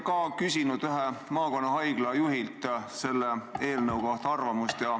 Mina olen küsinud ühe maakonnahaigla juhilt selle eelnõu kohta arvamust.